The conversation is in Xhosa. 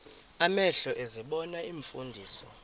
amehlo ezibona iimfundiso